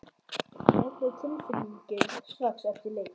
Hvernig var tilfinningin strax eftir leik?